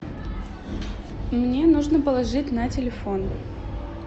мне нужно положить на телефон